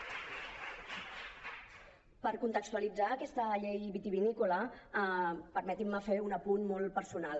per contextualitzar aquesta llei vitivinícola permetin me fer un apunt molt personal